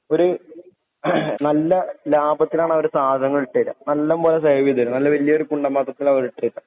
ഒര് ഏഹ് നല്ല ലാഭത്തില് ആണവര് സാദനങ്ങൾ ഇട്ടുതരുവാ. നല്ലപോലെ സെർവ് ചെയ്തു തരും. നല്ല വായൊരു കിണ്ണം പാത്രത്തില് അവര് ഇട്ടുതരുവാ.